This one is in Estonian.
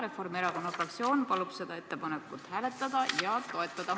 Reformierakonna fraktsioon palub seda ettepanekut hääletada ja toetada.